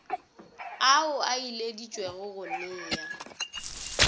ao a ileditšwego go nea